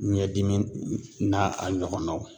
Ɲɛdimi n'a a ɲɔgɔnnaw